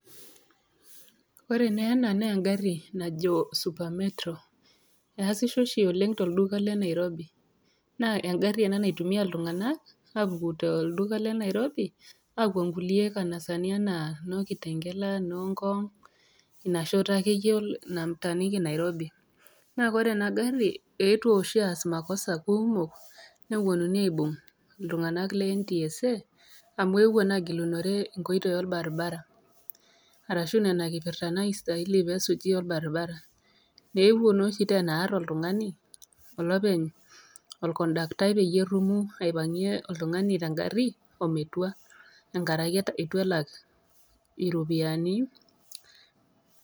Ore naa ena naa eng'ari najo super metro. Neasisho oshi oleng' tolduka le Nairobi. Naa engari ena naitumia iltung'ana aapuku toldula le Nairobi aapuo inkulie kanasani anaa noo Kitengela noo Ngong', ina shoto ake iyie nataaniki Nairobi. Naa ore ena gari neetuo oshi aas makosa[ kumok, nepuonuni aibung' iltung'ana le NTSA amu eewuo naa agilunore inkotoi olbarabara aashu nena kipirta naastahili pee esuji olbaribara. Eepuo nooshi teena aar oltung'ani olopeny olkondaktai peyie erumu oltung'ani aipang'ie oltung'ani te ngari metua enkara ake eitu elak iropiani.